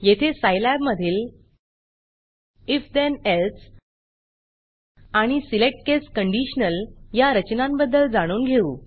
येथे सायलॅब मधील if then else if then else आणि select case conditional select case conditional या रचनांबद्दल जाणून घेऊ